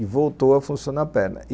E voltou a funcionar a perna.